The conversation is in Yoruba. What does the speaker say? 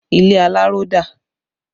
Ilé aláró dà?